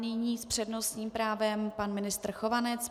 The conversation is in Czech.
Nyní s přednostním právem pan ministr Chovanec.